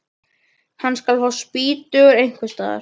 Hann skal fá spýtur einhvers staðar.